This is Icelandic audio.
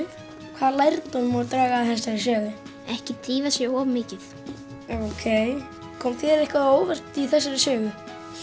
hvaða lærdóm má draga af þessari sögu ekki drífa sig of mikið ókei kom þér eitthvað á óvart í þessari sögu